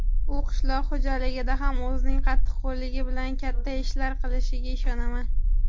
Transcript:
U qishloq xo‘jaligida ham o‘zining qattiqqo‘lligi bilan katta ishlar qilishiga ishonaman.